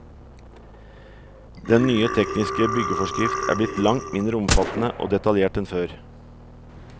Den nye tekniske byggeforskrift er blitt langt mindre omfattende og detaljert enn før.